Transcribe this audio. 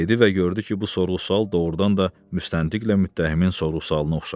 dedi və gördü ki, bu sorğu-sual doğurdan da müstəntiq ilə müttəhimin sorğu-sualına oxşayır.